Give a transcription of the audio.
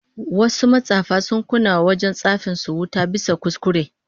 Wasu matsafa sun kunna wa wajen tsafin su wuta bisa kuskure